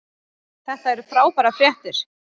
Þetta eru frábærar fréttir